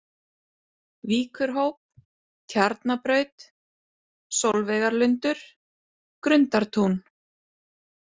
Víkurhóp, Tjarnabraut, Sólveigarlundur, Grundartún